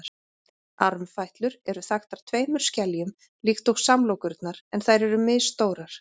armfætlur eru þaktar tveimur skeljum líkt og samlokurnar en þær eru misstórar